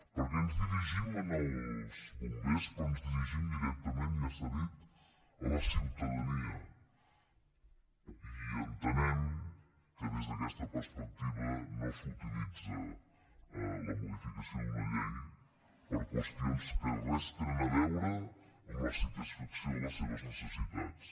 perquè ens dirigim als bombers però ens dirigim directament ja s’ha dit a la ciutadania i entenem que des d’aquesta perspectiva no s’utilitza la modificació d’una llei per a qüestions que res tenen a veure amb la satisfacció de les seves necessitats